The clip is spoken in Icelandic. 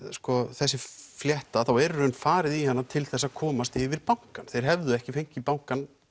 þessi flétta þá er farið í hina til þess að komast yfir bankann þeir hefðu ekki fengið bankann